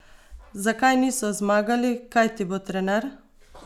Zakaj niso zmagali, kaj ti bo trener?